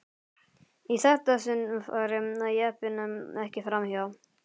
Í þetta sinn færi jeppinn ekki fram hjá.